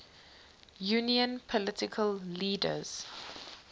union political leaders